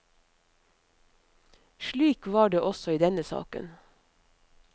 Slik var det også i denne saken.